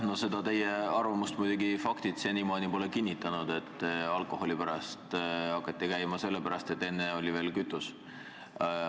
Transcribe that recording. No seda teie arvamust muidugi faktid senimaani pole kinnitanud, et alkoholi pärast hakati Lätis käima sellepärast, et enne veel oli seal odavam kütus.